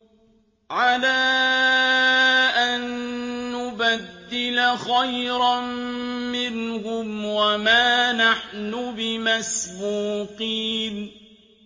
عَلَىٰ أَن نُّبَدِّلَ خَيْرًا مِّنْهُمْ وَمَا نَحْنُ بِمَسْبُوقِينَ